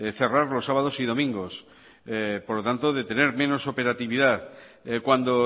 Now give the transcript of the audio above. cerrar los sábados y domingos por tanto de tener menos operatividad cuando